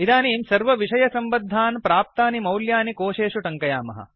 इदानीं सर्वविषयसम्बध्दान् प्राप्तानि मौल्यानि कोशेषु ट्ङ्कयामः